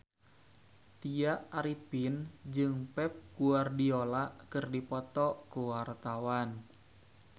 Tya Arifin jeung Pep Guardiola keur dipoto ku wartawan